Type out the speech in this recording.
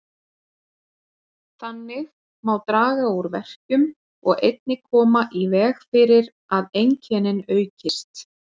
Þannig má draga úr verkjum og einnig koma í veg fyrir að einkennin aukist.